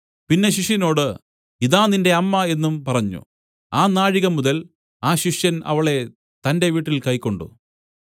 പിന്നെ ശിഷ്യനോട് ഇതാ നിന്റെ അമ്മ എന്നും പറഞ്ഞു ആ നാഴികമുതൽ ആ ശിഷ്യൻ അവളെ തന്റെ വീട്ടിൽ കൈക്കൊണ്ട്